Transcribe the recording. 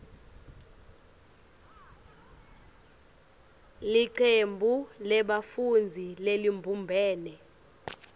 licembu lebafundzi lelibumbene